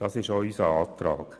Dies ist denn auch unser Antrag.